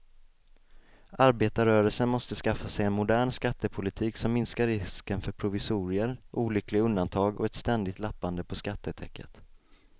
Arbetarrörelsen måste skaffa sig en modern skattepolitik som minskar risken för provisorier, olyckliga undantag och ett ständigt lappande på skattetäcket.